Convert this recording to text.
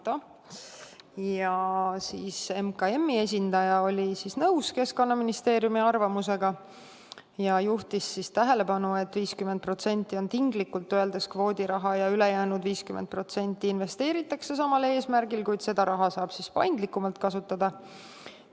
Majandus- ja Kommunikatsiooniministeeriumi esindaja oli nõus Keskkonnaministeeriumi arvamusega ja juhtis tähelepanu sellele, et 50% on tinglikult öeldes kvoodiraha ja ülejäänud 50% investeeritakse samal eesmärgil, kuid seda raha saab paindlikumalt kasutada.